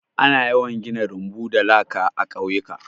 Ana yawan gina rumbu da laka a ƙauyuka.